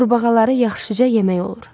Qurbağaları yaxşıca yemək olur.